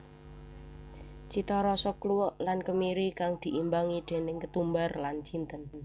Citarasa kluwek lan kemiri kang diimbangi déning ketumbar lan jinten